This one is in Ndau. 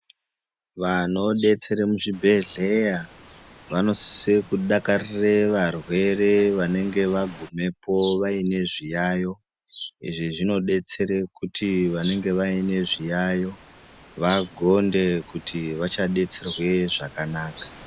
Vanodetsere muzvibhedhleya, vanosise kudakarire varwere vanenge vagumepo vaine zviyaiyo. Izvi zvinodetsere kuti vanenge vaine zviyaiyo, vagonde kuti vachadetserwe zvakanaka.